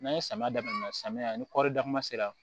N'an ye samiya daminɛ samiya ni kɔɔri dakuma sera